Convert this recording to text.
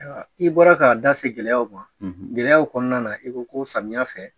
Ayiwa, i bɔra k'a da se gɛlɛyaw ma, , gɛlɛyaw kɔnɔna na i ko ko samiyɛ fɛ